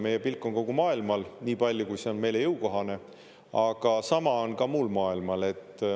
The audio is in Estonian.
Meie pilk on kogu maailmal niipalju, kui see on meile jõukohane, aga sama on ka muul maailmal.